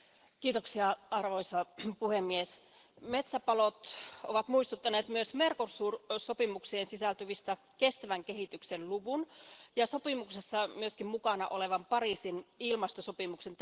Arvoisa puhemies, metsäpalot ovat muistuttaneet myös Mercosur sopimukseen sisältyvistä kestävän kehityksen luvun ja sopimuksessa myöskin mukana olevan Pariisin ilmastosopimuksen tärkeydestä.